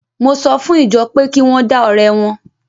Mo sọ fún ìjọ pé kí wọ́n dá ọrẹ wọn.